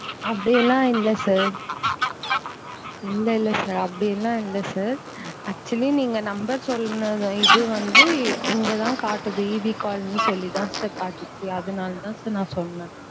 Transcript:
அப்படியெல்லாம் இல்ல sir இல்ல இல்ல sir அப்படியெல்லாம் இல்ல sir actually நீங்க number சொன்ன இது வந்து இங்க தான் காட்டுது EB காலனி சொல்லிதான் sir காட்டுச்சு அதுனால தான் sir நான் சொன்னேன்.